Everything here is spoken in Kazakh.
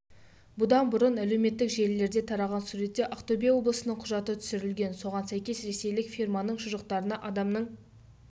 бұдан бұрын әлеуметтік желілерде тараған суретте ақтөбе облысының құжаты түсірілген соған сәйкес ресейлік фирманың шұжықтарында адамның